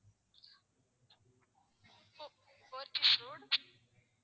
Pothys road